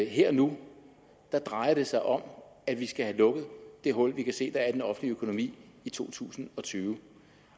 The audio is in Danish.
her og nu drejer sig om at vi skal have lukket det hul vi kan se der er i den offentlige økonomi i to tusind og tyve